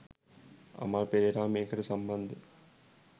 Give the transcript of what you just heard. අමල් පෙරේරා මේකට සම්බන්ධ